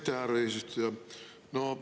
Aitäh, härra eesistuja!